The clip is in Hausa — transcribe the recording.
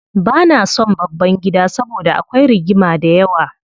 Bana son babban gida saboda akwai rigima dayawa.